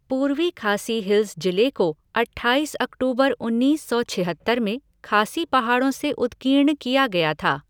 पूर्वी खासी हिल्स जिले को अठाईस अक्टूबर उन्नीस सौ छिहत्तर में खासी पहाड़ों से उत्कीर्ण किया गया था।